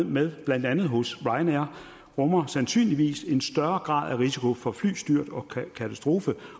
med blandt andet hos ryanair rummer sandsynligvis en større grad af risiko for flystyrt og katastrofer